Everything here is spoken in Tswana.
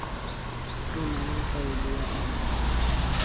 senang faele ya ona mo